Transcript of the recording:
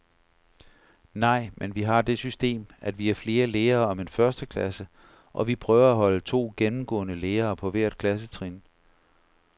Nej, men vi har det system, at vi er flere lærere om en førsteklasse, og vi prøver at holde to gennemgående lærere på hvert klassetrin.